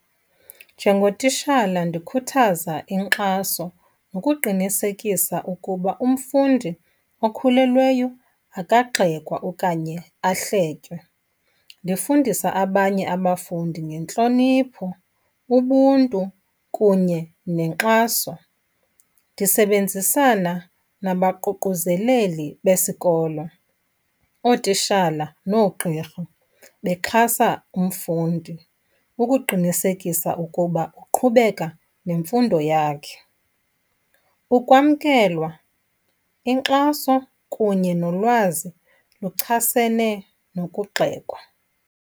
Njengotishala ndikhuthaza inkxaso ngokuqinisekisa ukuba umfundi okhulelweyo akagxekwa okanye ahletywe. Ndifundisa abanye abafundi ngentlonipho, ubuntu kunye nenkxaso. Ndisebenzisana nabaququzeleli besikolo, ootishala nogqirha bexhasa umfundi ukuqinisekisa ukuba uqhubeka nemfundo yakhe. Ukwamkelwa, inkxaso kunye nolwazi luchasene nokugxekwa.